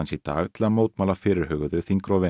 í dag til að mótmæla fyrirhuguðu þingrofi